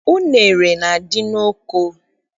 Unere na- adị n'oko